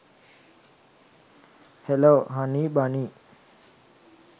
hello hunny bunny